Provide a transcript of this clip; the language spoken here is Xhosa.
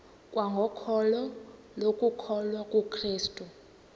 kwangokholo lokukholwa kukrestu